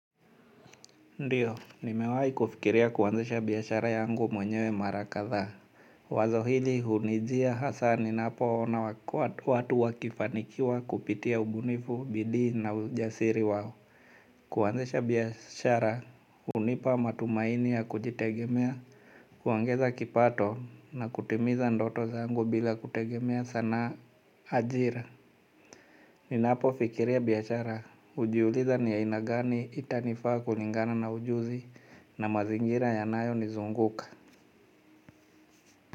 Ndiyo, nimewai kufikiria kuanzisha biashara yangu mwenyewe mara kadha. Wazo hili hunijia hasa ninapo ona watu wakifanikiwa kupitia ubunifu, bidii na ujasiri wao. Kuanzisha biashara, hunipa matumaini ya kujitegemea, kuongeza kipato na kutimiza ndoto zangu bila kutegemea sana ajira. Ninapo fikiria biashara hujiuliza niya aina gani itanifaa kulingana na ujuzi na mazingira yanayo nizunguka.